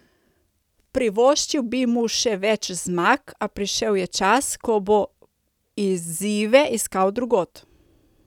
Privoščil bi mu še več zmag, a prišel je čas, ko bo izzive iskal drugod.